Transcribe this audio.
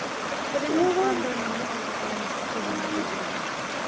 ਪਰ ਇਹਨੂੰ ਆਉਂਦਾ ਨਈਂ ਐ ਨਾ ਹਜੇ ਤੱਕ ਇਹਨੇ ਸਿੱਖੀ ਵੀ ਨੀ ਗੱਡੀ ਗੁੱਡੀ।